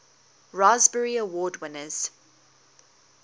raspberry award winners